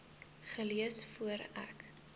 gelees voor ek